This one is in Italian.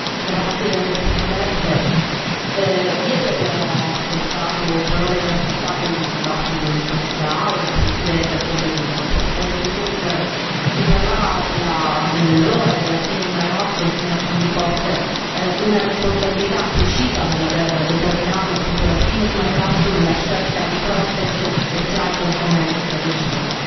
Signora Presidente, ieri abbiamo ascoltato parole inaccettabili nel dibattito in quest'Aula, a partire da quelle del Presidente Juncker, che parlava dell'errore della fine di Mare Nostrum, come se non vi fosse una responsabilità precisa nell'aver determinato la fine di Mare Nostrum e la scelta di Frontex e Triton come strategie.